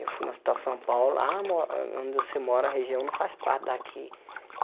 Eu fui no Hospital São Paulo, ah mo on onde você mora, a região não faz parte daqui.